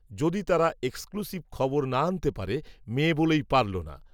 যদি তারা এক্সক্লূসিভ খবর না আনতে পারে, মেয়ে বলেই পারল না